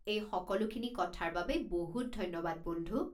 এই সকলোখিনি কথাৰ বাবে বহুত ধন্যবাদ বন্ধু।